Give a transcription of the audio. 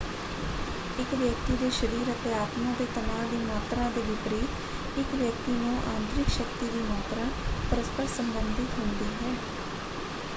ਇਕ ਵਿਅਕਤੀ ਦੇ ਸਰੀਰ ਅਤੇ ਆਤਮਾਂ ਦੇ ਤਨਾਅ ਦੀ ਮਾਤਰਾ ਦੇ ਵਿਪਰੀਤ ਇਕ ਵਿਅਕਤੀ ਨੂੰ ਆਂਤਰਿਕ ਸ਼ਕਤੀ ਦੀ ਮਾਤਰਾ ਪਰਸਪਰ ਸੰਬੰਧਿਤ ਹੁੰਦੀ ਹੈ।